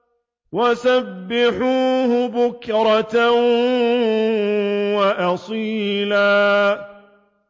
وَسَبِّحُوهُ بُكْرَةً وَأَصِيلًا